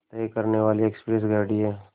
तय करने वाली एक्सप्रेस गाड़ी है